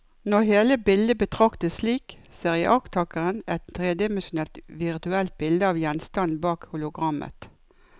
Når hele bildet betraktes slik, ser iakttakeren et tredimensjonalt virtuelt bilde av gjenstanden bak hologrammet.